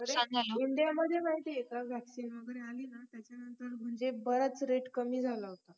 अरे India मध्ये माहिती आहे का vaccine वगैरे आली ना त्याच्या नंतर म्हणजे बराच rate कमी झाला होता